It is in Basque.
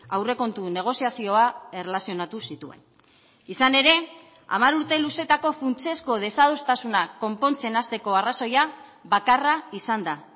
aurrekontu negoziazioa erlazionatu zituen izan ere hamar urte luzeetako funtsezko desadostasunak konpontzen hasteko arrazoia bakarra izan da